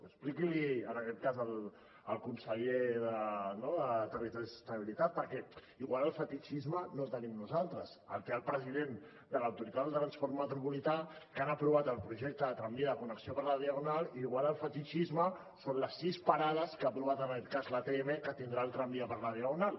expliqui l’hi en aquest cas al conseller de territori i sostenibilitat perquè igual el fetitxisme no el tenim nosaltres el té el president de l’autoritat de transport metropolità que han aprovat el projecte de tramvia de connexió per la diagonal igual el fetitxisme són les sis parades que ha aprovat l’atm que tindrà el tramvia per la diagonal